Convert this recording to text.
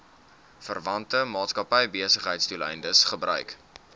verwante maatskappybesigheidsdoeleindes gebruik